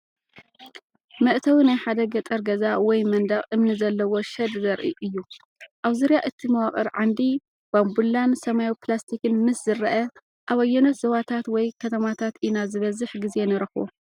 መእተዊ ናይ ሓደ ገጠር ገዛ ወይ መንደቕ እምኒ ዘለዎ ሸድ ዘርኢ እዩ። ኣብ ዙርያ እቲ መዋቕር ዓንዲ ባምቡላን ሰማያዊ ፕላስቲክን ምስ ዝረአ፡ ኣብ ኣየኖት ዞባታት ወይ ከተማታት ኢና ዝበዝሕ ግዜ ንረኽቦ?